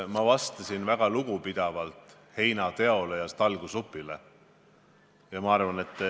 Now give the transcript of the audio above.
Ma vastasin väga lugupidavalt, kui rääkisin heinateost ja talgusupist.